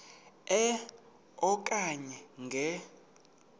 e okanye nge